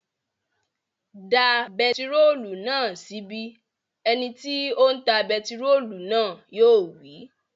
Da bentiróòlù náà sí ibí! Ẹ ni tí ó ń ta bentiróòlù náà yóò wí